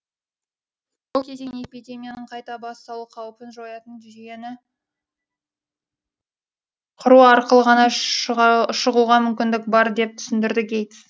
бұл кезеңнен эпидемияның қайта басталу қаупін жоятын жүйені құру арқылы ғана шығуға мүмкіндік бар деп түсіндірді гейтс